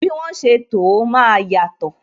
Bí wọn ṣe to ó, máa yàtò